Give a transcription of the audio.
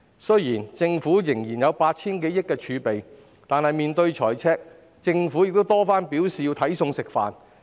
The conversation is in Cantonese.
雖然政府仍有 8,000 多億元儲備，但面對財赤，政府已多番表示要"睇餸食飯"。